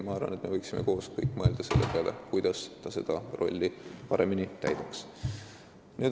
Ma arvan, et me võiksime kõik koos mõelda selle peale, kuidas ta saaks seda rolli paremini täita.